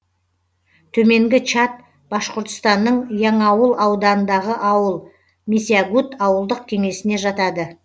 төменгі чат башқұртстанның яңауыл ауданындағы ауыл месягут ауылдық кеңесіне жатады